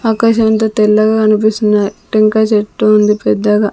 ఆకాశం అంతా తెల్లగ కనిపిస్తున్నాయ్ టెంకాయ చెట్టు ఉంది పెద్దగా.